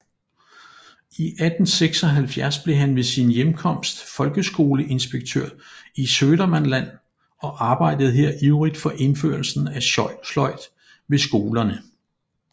I 1876 blev han ved sin hjemkomst folkeskoleinspektør i Södermanland og arbejdede her ivrigt for indførelsen af sløjd ved skolerne